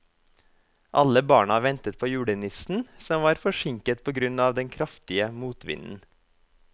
Alle barna ventet på julenissen, som var forsinket på grunn av den kraftige motvinden.